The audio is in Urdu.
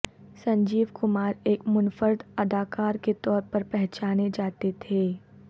سنجیوکمار ایک منفرد اداکار کے طور پر پہچانے جاتے تھے